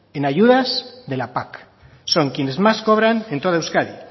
en ayudas de la pac son quienes más cobran en todo euskadi